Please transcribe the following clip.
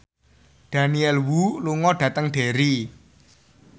Daniel Wu lunga dhateng Derry